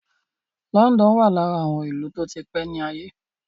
London wà lára àwọn ìlú tó ti pé ní àgbáyé.